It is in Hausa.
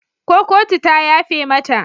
Ko kotu ta yafe mata?